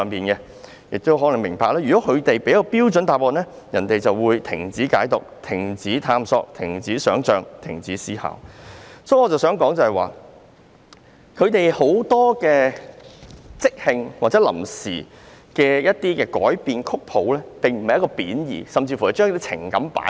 大家要明白，如果提供了標準答案，大家便會停止解讀、停止探索、停止想象、停止思考。我想說的是，很多即興或臨時改變曲譜的行為並無貶意，只是將情感表達出來。